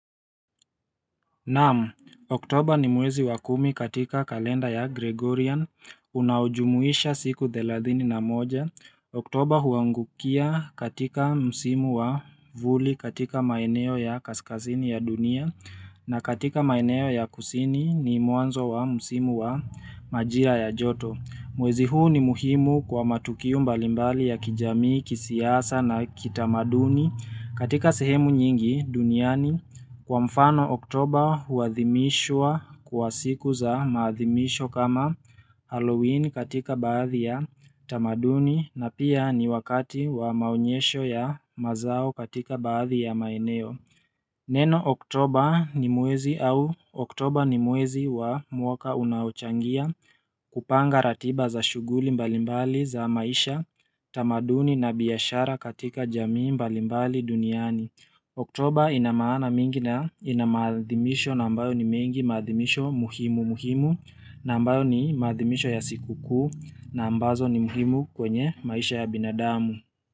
Naam, oktoba ni mwezi wa kumi katika kalenda ya Gregorian, unaojumuisha siku thelathini na moja, oktoba huangukia katika msimu wa vuli katika maeneo ya kaskasini ya dunia, na katika maeneo ya kusini ni mwanzo wa msimu wa majira ya joto. Mwezi huu ni muhimu kwa matukio mbalimbali ya kijami, kisiasa na kitamaduni katika sehemu nyingi duniani kwa mfano oktober huathimishwa kwa siku za maathimisho kama Halloween katika baadhi ya tamaduni na pia ni wakati wa maonyesho ya mazao katika baadhi ya maeneo. Neno Oktoba ni mwezi au Oktoba ni mwezi wa mwaka unaochangia kupanga ratiba za shuguli mbalimbali za maisha tamaduni na biashara katika jamii mbalimbali duniani. Oktober ina maana mingi na inamaadhimisho na ambayo ni mengi maadhimisho muhimu muhimu na ambayo ni maadhimisho ya siku kuu na ambazo ni muhimu kwenye maisha ya binadamu.